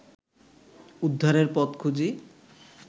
উদ্ধারের পথ খুঁজি